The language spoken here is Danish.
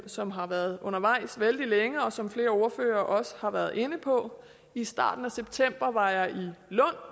som har været undervejs vældig længe og som flere ordførere også har været inde på i starten af september var jeg